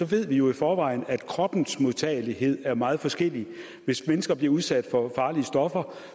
ved vi jo i forvejen at kroppens modtagelighed er meget forskellig hvis mennesker bliver udsat for farlige stoffer